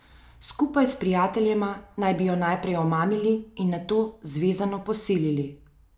Skupaj s prijateljema naj bi jo najprej omamili in nato zvezano posilili.